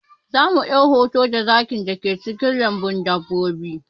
Za mu ɗau hoto da zakin da ke cikin lambun dabbobin